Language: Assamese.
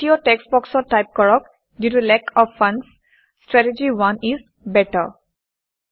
তৃতীয় টেক্সট্ বক্সত টাইপ কৰক - due to lack of funds strategy 1 is better